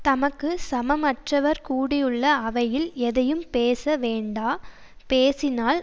தமக்கு சமம் அற்றவர் கூடியுள்ள அவையில் எதையும் பேச வேண்டா பேசினால்